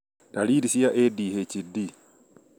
ndariri cia ADHD